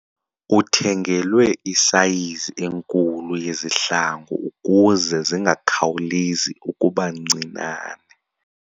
Uthengelwe isayizi enkulu yezihlangu ukuze zingakhawulezi ukuba ncinane.